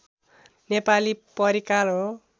नेपाली परिकार हो